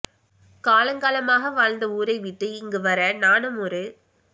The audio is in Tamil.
காலங்காலமாக வாழ்ந்த ஊரைவிட்டு இங்கு வர நானும் ஒரு